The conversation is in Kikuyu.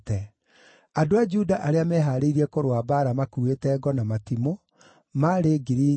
andũ a Juda arĩa meehaarĩirie kũrũa mbaara maakuĩte ngo na matimũ, maarĩ 6,800;